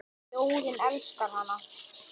Þjóðin elskar hana.